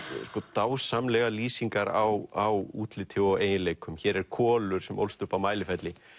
dásamlegar lýsingar á útliti og eiginleikum hér er Kolur sem ólst upp á Mælifelli